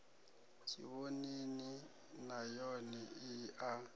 tshivhonini nay one i a